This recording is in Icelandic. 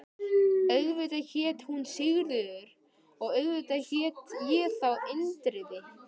Auðvitað hét hún Sigríður og auðvitað hét ég þá Indriði.